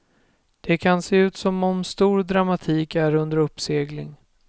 Det kan se ut som om stor dramatik är under uppsegling.